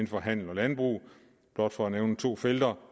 for handel og landbrug blot for at nævne to felter